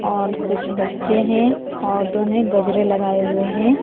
और कुछ बच्चे हैं औरतों ने गजरे लगाए हुए हैं।